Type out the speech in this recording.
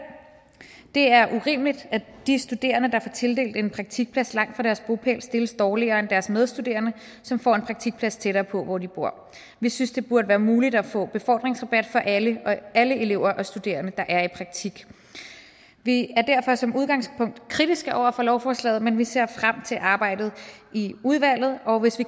det er urimeligt at de studerende der får tildelt en praktikplads langt fra deres bopæl stilles dårligere end deres medstuderende som får en praktikplads tættere på hvor de bor vi synes det burde være muligt at få befordringsrabat for alle elever og studerende der er i praktik vi er derfor som udgangspunkt kritiske over for lovforslaget men vi ser frem til arbejdet i udvalget og hvis vi